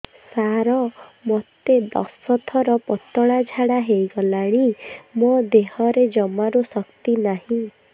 ସାର ମୋତେ ଦଶ ଥର ପତଳା ଝାଡା ହେଇଗଲାଣି ମୋ ଦେହରେ ଜମାରୁ ଶକ୍ତି ନାହିଁ